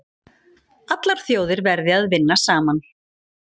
Allar þjóðir verði að vinna saman